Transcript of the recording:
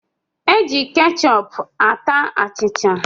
E ji kechọp ata achịcha